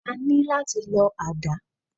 A ní láti lọ àdá.